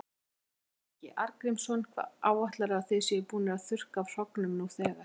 Ásgrímur Ingi Arngrímsson: Hvað áætlarðu að þið séuð búnir að þurrka af hrognum nú þegar?